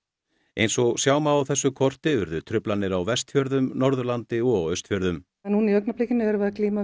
eins og sjá má á þessu korti urðu truflanir á Vestfjörðum Norðurlandi og á Austfjörðum núna í augnablikinu erum við að glíma